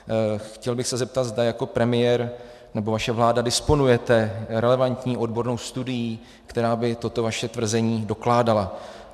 Chtěl bych se zeptat, zda jako premiér, nebo vaše vláda, disponujete relevantní odbornou studií, která by toto vaše tvrzení dokládala.